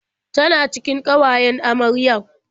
Tana cikin ƙawayen amaryar?